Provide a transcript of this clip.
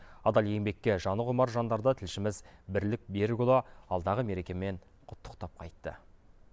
адал еңбекке жаны құмар жандарды тілшіміз бірлік берікұлы алдағы мерекемен құттықтап қайтты